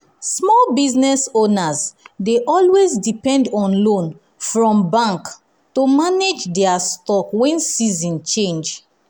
small business owners dey always depend on loan from bank to manage dia stock when season change.